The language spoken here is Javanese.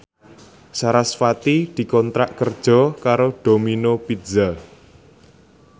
sarasvati dikontrak kerja karo Domino Pizza